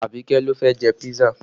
Abike ló fẹ́ jẹ písà